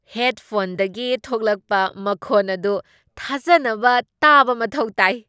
ꯍꯦꯗꯐꯣꯟꯗꯒꯤ ꯊꯣꯛꯂꯛꯄ ꯃꯈꯣꯟ ꯑꯗꯨ ꯊꯥꯖꯅꯕ ꯇꯥꯕ ꯃꯊꯧ ꯇꯥꯏ ꯫